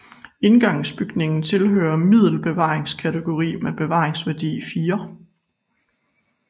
Indgangsbygningen tilhører middel bevaringskategori med bevaringsværdi 4